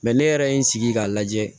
ne yɛrɛ ye n sigi k'a lajɛ